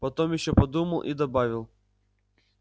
потом ещё подумал и добавил